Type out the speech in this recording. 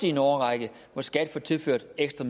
i en årrække hvor skat får tilført ekstra